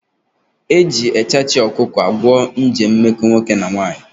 Eji echachị ọkụkọ agwọ nje mmekọ nwoke na nwaanyị